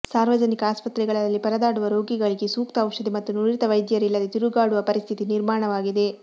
ಸಾರ್ವಜನಿಕ ಆಸ್ಪತ್ರೆಗಳಲ್ಲಿ ಪರದಾಡುವ ರೋಗಿಗಳಿಗೆ ಸೂಕ್ತ ಔಷಧಿ ಮತ್ತು ನುರಿತ ವೈದ್ಯರಿಲ್ಲದೆ ತಿರುಗಾಡುವ ಪರಿಸ್ಥಿತಿ ನಿರ್ಮಾಣವಾಗಿದೆ